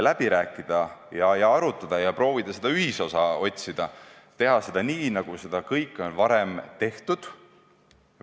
Ettepanekud tuleks nendega läbi rääkida ja otsida ühisosa ning teha seda kõike nii, nagu varem on tehtud.